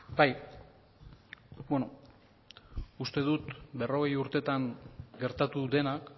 bai beno uste dut berrogei urtetan gertatu denak